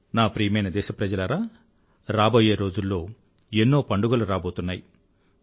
నా ప్రియమైన దేశప్రజలారా రాబోయే రోజుల్లో ఎన్నో పండుగలు రాబోతున్నాయి